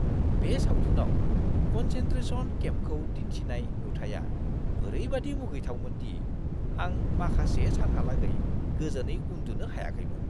बे सावथुनाव कन्सेन्ट्रेशन केम्पखौ दिन्थिनाय नुथाइया ओरैबादि मुगैथावमोन दि आं माखासे सानहालागै गोजोनै उन्दुनो हायाखैमोन!